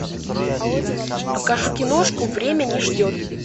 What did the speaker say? покажи киношку время не ждет